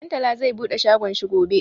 Ɗantala zai bude shagon shi gobe.